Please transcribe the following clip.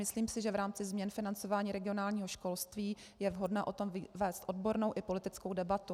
Myslím si, že v rámci změn financování regionálního školství je vhodné o tom vést odbornou i politickou debatu.